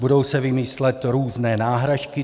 Budou se vymýšlet různé náhražky.